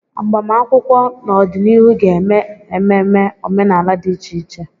Agbamakwụkwọ n'ọdịnihu ga-eme ememe omenala dị iche iche.